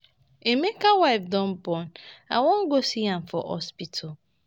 Emeka wife don born I wan go see am for hospital